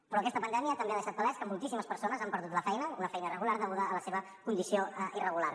però aquesta pandèmia també ha deixat palès que moltíssimes persones han perdut la feina una feina irregular deguda a la seva condició irregular